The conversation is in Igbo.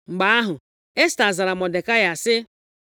Mgbe ahụ, Esta zara Mọdekai sị;